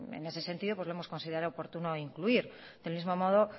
en ese sentido lo hemos considerado oportuno incluir del mismo modo